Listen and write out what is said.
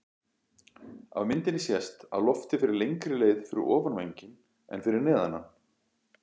Af myndinni sést að loftið fer lengri leið fyrir ofan vænginn en fyrir neðan hann.